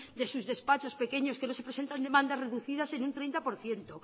de sus despachos pequeños que no se presentan demandas reducidas en un treinta por ciento